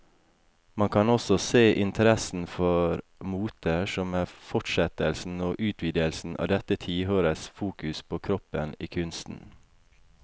Man kan også se interessen for moter som en fortsettelse og utvidelse av dette tiårets fokus på kroppen i kunsten.